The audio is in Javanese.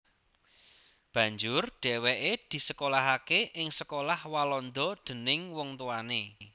Banjur dhèwèké disekolahaké ing sekolah Walanda déning wong tuwané